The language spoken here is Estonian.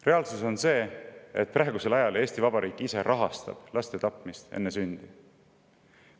Reaalsus on see, et praegusel ajal Eesti Vabariik rahastab laste tapmist enne sündi.